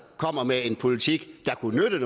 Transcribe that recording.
kommer med en politik der kunne nytte